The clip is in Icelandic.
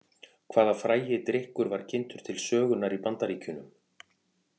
Hvaða frægi drykkur var kynntur til sögunnar í Bandaríkjunum?